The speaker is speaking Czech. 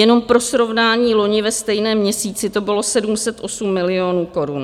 Jenom pro srovnání, loni ve stejném měsíci to bylo 708 milionů korun.